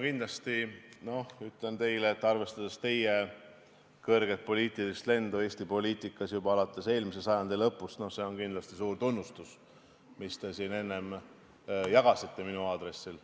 Kindlasti ütlen teile, et arvestades teie kõrget lendu Eesti poliitikas, juba alates eelmise sajandi lõpust, on see kindlasti suur tunnustus, mis te siin enne jagasite minu aadressil.